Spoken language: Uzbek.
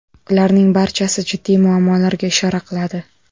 Ularning barchasi jiddiy muammolarga ishora qiladi.